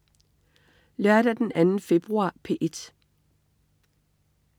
Lørdag den 2. februar - P1: